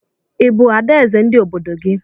Ị bụ adaeze ndị obodo gị?